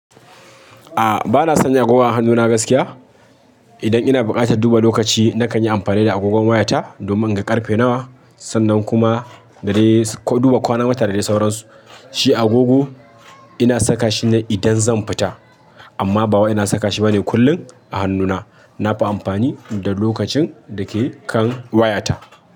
A bana sanya agogon a hannuna gaskiya. Idan ina buƙatar duba lokaci nakan yi amfani da agogon wayata domin in ga ƙarfe nawa sannan kuma dare duba kwana wata da dare sauransu. Shi agogo ina saka shi ne idan zan fita amma ba wa ina saka shi bane kullum a hannuna. Nafi amfani da lokacin dake kan wayata.